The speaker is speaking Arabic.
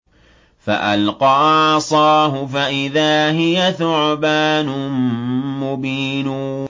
فَأَلْقَىٰ عَصَاهُ فَإِذَا هِيَ ثُعْبَانٌ مُّبِينٌ